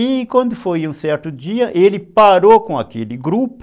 E quando foi um certo dia, ele parou com aquele grupo,